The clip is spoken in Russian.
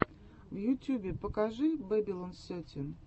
в ютьюбе покажи бэбилон сетин